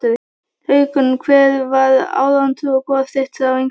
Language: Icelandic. Haukum Hver var átrúnaðargoð þitt á yngri árum?